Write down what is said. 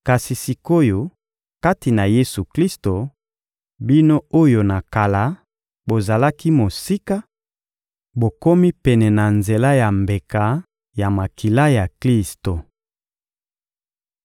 Kasi sik’oyo, kati na Yesu-Klisto, bino oyo na kala bozalaki mosika, bokomi pene na nzela ya mbeka ya makila ya Klisto.